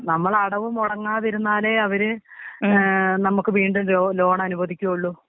നമ്മളെ അടവ് മൊടങ്ങാതിരുന്നാലെ അവര് ഏ നമുക്ക് വീണ്ടും ലോ ലോണനുവദിക്കൊള്ളു.